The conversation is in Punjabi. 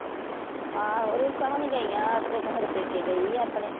ਆਓ ਰਿੰਕੂ ਹੋਣੀਆਂ ਗਈਆਂ ਉੱਥੇ ਸਾਡੇ ਪੇਕੇ ਗਈ ਆਪਣੇ